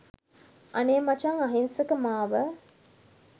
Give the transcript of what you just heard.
අනේ මචං අහිංසක මාව